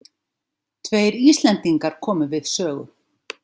Tveir Íslendingar komu við sögu.